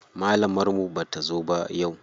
Malamar mu bata zo ba yau.